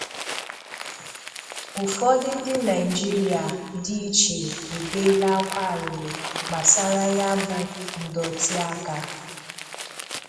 Ụfọdụ ndị Naịjirịa dị ichee ebeela ákwá arịrị gbasara ya bụ ndọtịaka